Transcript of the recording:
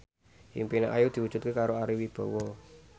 impine Ayu diwujudke karo Ari Wibowo